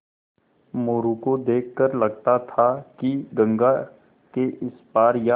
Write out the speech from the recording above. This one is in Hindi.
मोरू को देख कर लगता था कि गंगा के इस पार या